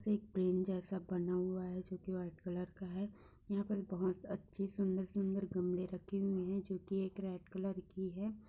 इसमें एक पेन जैसा बना हुआ है जो कि वाइट कलर का है। यहाँ पर बोहोत अच्छी सुंदर-सुंदर गमले रखे हुए हैं जो कि एक एक रेड कलर की है।